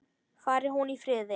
Fari hún í friði.